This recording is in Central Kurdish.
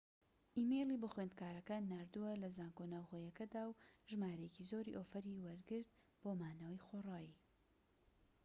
ئیمەیلی بۆ خوێندکارەکان ناردووە لە زانکۆ ناوخۆییەکەدا و ژمارەیەکی زۆری ئۆفەری وەرگرت بۆ مانەوەی خۆڕایی